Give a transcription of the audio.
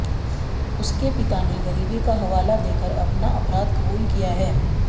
उसके पिता ने गरीबी का हवाला देकर अपना अपराध कुबूल किया है